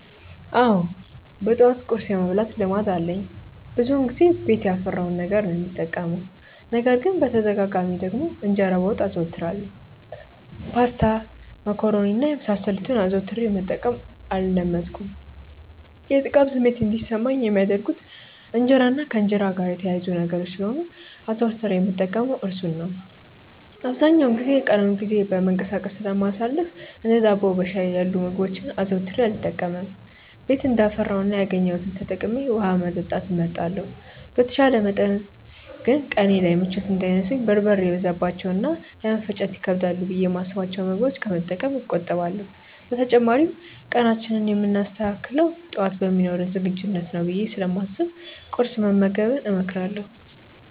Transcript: አዎ በጠዋት ቁርስ የመብላት ልማድ አለኝ። ብዙውን ጊዜ ቤት ያፈራውን ነገር ነው የምጠቀመው። ነገር ግን በተደጋጋሚ ደግሞ እንጀራ በወጥ አዘወትራለሁ። ፓስታ፣ መኮሮኒ እና የመሳሰሉትን አዘውትሬ መጠቀም አልለመድኩም። የጥጋብ ስሜት እንዲሰማኝ የሚያደርጉት እንጀራ እና ከእንጀራ ጋር የተያያዙ ነገሮች ስለሆኑ አዘውትሬ የምጠቀመው እርሱን ነው። አብዛኛውን የቀኑን ጊዜ በመንቀሳቀስ ስለማሳልፍ እንደ ዳቦ በሻይ ያሉ ምግቦችን አዘውትሬ አልጠቀምም። ቤት እንዳፈራው እና ያገኘሁትን ተጠቅሜ ውሀ መጠጣት እመርጣለሁ። በተቻለ መጠን ግን ቀኔ ላይ ምቾት እንዳይነሱኝ በርበሬ የበዛባቸውን እና ለመፈጨት ይከብዳሉ ብዬ የማስብቸውን ምግቦች ከመጠቀም እቆጠባለሁ። በተጨማሪም ቀናችንን የምናስተካክለው ጠዋት በሚኖረን ዝግጁነት ነው ብዬ ስለማስብ ቁርስ መመገብን እመክራለሁ።